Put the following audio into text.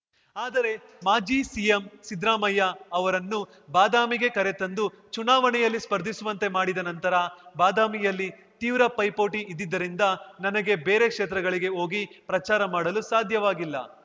ಆದರೆ ಮಾಜಿ ಸಿಎಂ ಸಿದ್ರಾಮಯ್ಯ ಅವರನ್ನು ಬಾದಾಮಿಗೆ ಕರೆತಂದು ಚುನಾವಣೆಯಲ್ಲಿ ಸ್ಪರ್ಧಿಸುವಂತೆ ಮಾಡಿದ ನಂತರ ಬಾದಾಮಿಯಲ್ಲಿ ತೀವ್ರ ಪೈಪೋಟಿ ಇದ್ದಿದ್ದರಿಂದ ನನಗೆ ಬೇರೆ ಕ್ಷೇತ್ರಗಳಿಗೆ ಹೋಗಿ ಪ್ರಚಾರ ಮಾಡಲು ಸಾಧ್ಯವಾಗಿಲ್ಲ